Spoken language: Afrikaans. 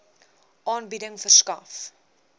aanbieding verskaf